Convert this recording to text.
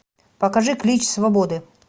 покажи клич свободы